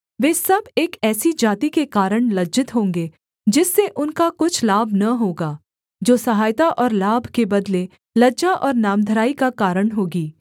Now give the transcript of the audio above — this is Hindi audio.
वे सब एक ऐसी जाति के कारण लज्जित होंगे जिससे उनका कुछ लाभ न होगा जो सहायता और लाभ के बदले लज्जा और नामधराई का कारण होगी